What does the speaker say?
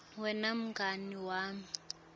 wena mngani wami